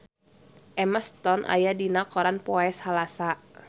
Emma Stone aya dina koran poe Salasa